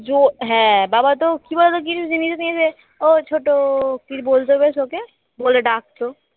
জো হ্যাঁ বাবা তো কি বল তো কিছু জিনিস নেবে ও ছোট কি বলবে বেশ ওকে বলে ডাকত